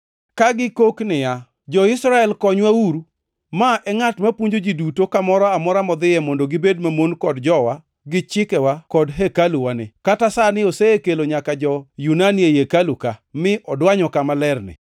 ka gikok niya, “Jo-Israel, konywauru. Ma e ngʼat mapuonjo ji duto kamoro amora modhiye mondo gibed mamon kod jowa, gi chikewa kod hekaluwani. Kata sani osekelo nyaka jo-Yunani ei hekalu ka, mi odwanyo kama lerni.”